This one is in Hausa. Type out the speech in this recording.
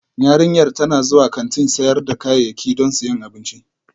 Yarinyar tana zuwa kantin sayar da kayayyaki don siyan abinci